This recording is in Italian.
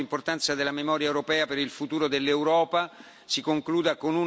si concluda con una risoluzione, che sarà votata giovedì.